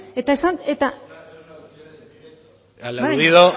eta martínez jauna sí